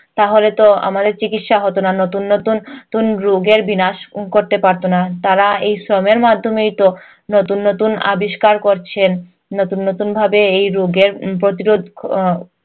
তাহলে তো আমাদের চিকিৎসা হতো না। নতুন নতুন রোগের বিনাশ করতে পারতো না। তারা এই শ্রমের মাধ্যমেই তো নতুন নতুন আবিষ্কার করছেন। নতুন নতুন ভাবে এই রোগের উম প্রতিরোধ আহ